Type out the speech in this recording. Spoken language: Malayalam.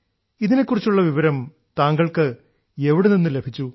ഇതിനെക്കുറിച്ചുള്ള വിവരം താങ്കൾക്ക് എവിടെനിന്നു ലഭിച്ചു